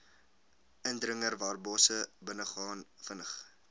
indringerwarbosse binnegaan vinnig